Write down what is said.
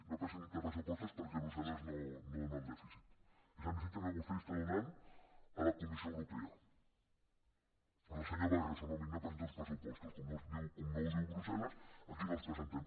no presenta pressupostos perquè brussel·les no dóna el dèficit és el missatge que vostè dóna a la comissió europea al senyor barroso no miri no presento els pressupostos com que no ho diu brussel·les aquí no els presentem